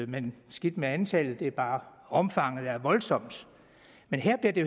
men skidt med antallet det er bare omfanget der er voldsomt men her bliver det